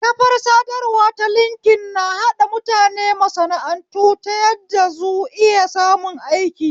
Kafar sadarwa ta linkin na haɗa mutane masana'antu ta yadda zu iya samun aiki